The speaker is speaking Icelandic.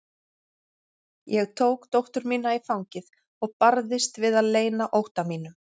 Ég tók dóttur mína í fangið og barðist við að leyna ótta mínum.